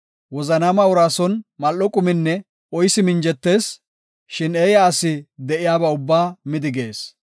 Wozanaama uraa son mal7o quminne oysi minjettees; shin eeya asi de7iyaba ubbaa midigees.